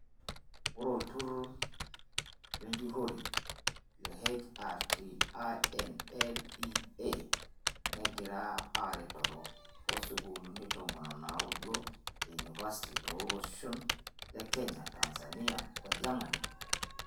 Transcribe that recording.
Ore olturur lenjurore le HRTINLEA negira aretoro oo sukulini tomon onaudo ee university too loshon le kenya, Tanzania oo Geremani.